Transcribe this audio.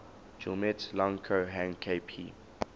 guillemets lang ko hang kp